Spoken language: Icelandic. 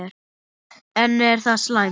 En er það slæmt?